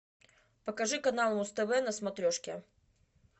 покажи канал муз тв на смотрешке